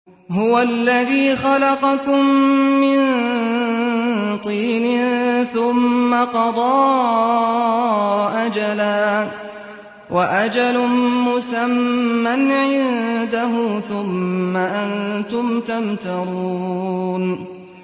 هُوَ الَّذِي خَلَقَكُم مِّن طِينٍ ثُمَّ قَضَىٰ أَجَلًا ۖ وَأَجَلٌ مُّسَمًّى عِندَهُ ۖ ثُمَّ أَنتُمْ تَمْتَرُونَ